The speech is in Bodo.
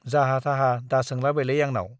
जाहा थाहा दा सोंलाबायलै आंनाव ।